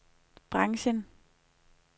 branchen